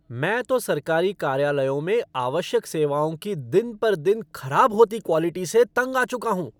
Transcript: मैं तो सरकारी कार्यालयों में आवश्यक सेवाओं की दिन पर दिन खराब होती क्वॉलिटी से तंग आ चुका हूँ।